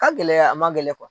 Ka gɛlɛn a man gɛlɛn